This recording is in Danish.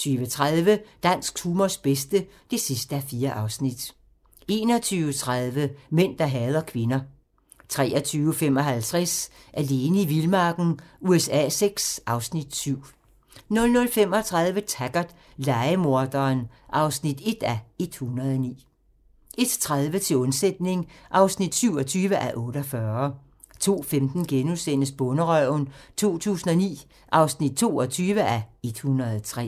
20:30: Dansk humors bedste (4:4) 21:30: Mænd, der hader kvinder 23:55: Alene i vildmarken USA VI (Afs. 7) 00:35: Taggart: Lejemorderen (1:109) 01:30: Til undsætning (27:48) 02:15: Bonderøven 2009 (22:103)*